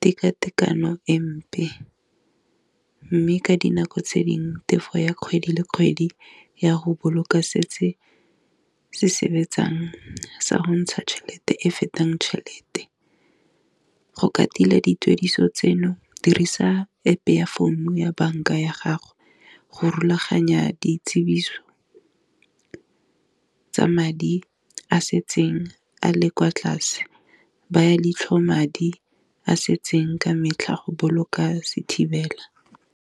tekatekano empe, mme ka dinako tse dingwe tefo ya kgwedi le kgwedi ya go boloka setse se se betsang sa go ntsha tšhelete e fetang tšhelete, go ka tila dituediso tseno dirisa App-e ya founu ya banka ya gago, go rulaganya dikitsiso tsa madi a setseng a le kwa tlase, baya leitlho madi a setseng ka metlha go boloka sethibela.